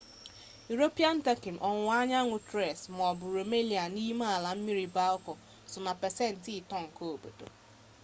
iropian tọki ọwụwa anyanwụ tres maọbụ rumelia n'ime ala mmiri balka so na pasent 3 nke obodo